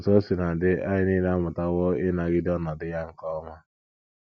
Otú o sina dị, anyị nile amụtawo ịnagide ọnọdụ ya nke ọma.